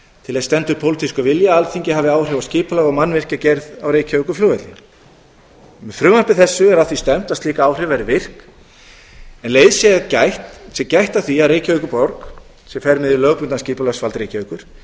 til þess stendur pólitískur vilji að alþingi hafi áhrif á skipulag og mannvirkjagerð á reykjavíkurflugvelli með frumvarpi þessu er að því stefnt að slík áhrif verði virk en um leið sé gætt að því að reykjavíkurborg sem fer með hið lögbundna skipulagsvald reykjavíkur